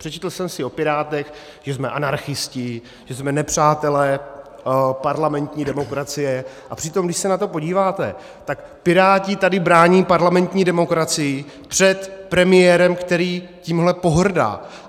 Přečetl jsem si o Pirátech, že jsme anarchisté, že jsme nepřátelé parlamentní demokracie, a přitom když se na to podíváte, tak Piráti tady brání parlamentní demokracii před premiérem, který tím pohrdá.